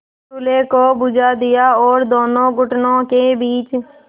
चूल्हे को बुझा दिया और दोनों घुटनों के बीच